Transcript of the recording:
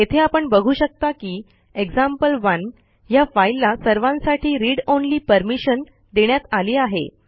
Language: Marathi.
येथे आपण बघू शकता की एक्झाम्पल1 ह्या फाईलला सर्वांसाठी रीड ऑनली परमिशन देण्यात आली आहे